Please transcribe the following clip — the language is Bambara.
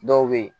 Dɔw bɛ yen